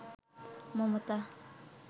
Mamata